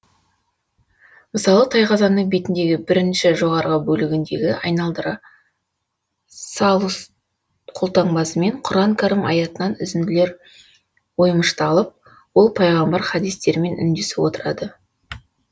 мысалы тайқазанның бетіндегі бірінші жоғарғы бөлігіндегі айналдыра салус қолтаңбасымен құран кәрім аятынан үзінділер оймышталып ол пайғамбар хадистерімен үндесіп отырады